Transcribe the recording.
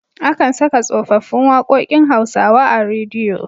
Akan saka tsofaffin waƙokin Hausawa a rediyo.